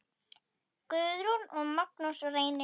Guðrún og Magnús Reynir.